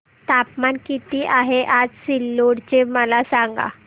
तापमान किती आहे आज सिल्लोड चे मला सांगा